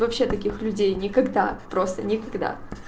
вообще таких людей никогда просто никогда